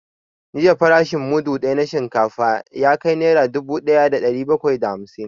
Jiya farashin mudu ɗaya na shinkafa ya na dubu ɗaya da ɗari bakwai da hamsin